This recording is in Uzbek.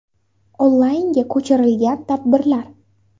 Onlaynga ko‘chirilgan tadbirlar: ?